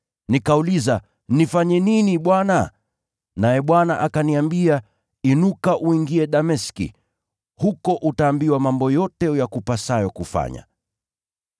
“Nikauliza, ‘Nifanye nini Bwana?’ “Naye Bwana akaniambia, ‘Inuka uingie Dameski, huko utaambiwa yote yakupasayo kufanya.’